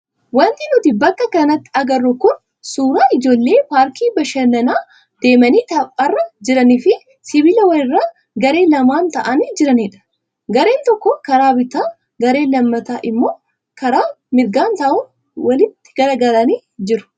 Wanti nuti bakka kanatti agarru kun suuraa ijoollee paarkii bashannanaa deemanii tapharra jiranii fi sibiila wayiirra garee lamaan taa'anii jiranidha. Gareen tokko karaa bitaa gareen lammataa immoo karaa mirgaa ta'uun walitti garagaralanii jiru.